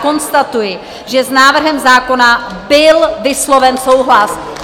Konstatuji, že s návrhem zákona byl vysloven souhlas.